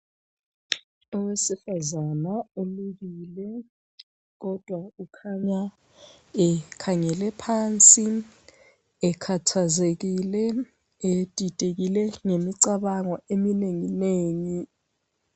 Owesifazana ulukile kodwa ukhanya ekhangele phansi ekhathazekile, edidekile, ngemicabango eminengi nengi.